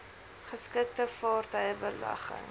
geskikte vaartuie belegging